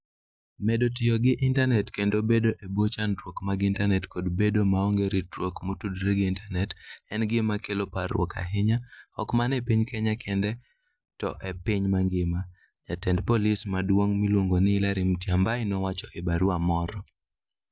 Medo tiyo gi intanet kendo bedo e bwo chandruok mag intanet kod bedo maonge ritruok motudore gi intanet en gima kelo parruok ahinya ok mana e piny Kenya kende to e piny mangima, Jatend Polis maduong ' miluongo ni Hilary Mutyambai nowacho e barua moro.